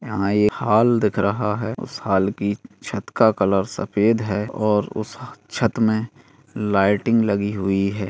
यँहा एक हॉल दिखा रहा है उस हाल की छत का कलर सफ़ेद है और उस छत में लाइटिंग लगी हुई है।